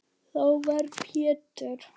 Þá var Pétur